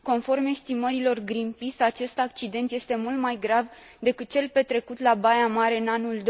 Conform estimărilor Green Peace acest accident este mult mai grav decât cel petrecut la Baia Mare în anul